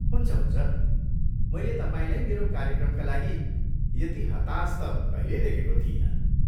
हुन्छ हुन्छ, मैले तपाईँलाई मेरो कार्यक्रमका लागि यति हतास त कहिल्यै देखेको थिइनँ!